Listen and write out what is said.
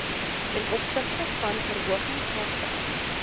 tov verhogings vaartuig